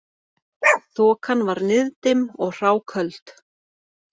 Þokan var niðdimm og hráköld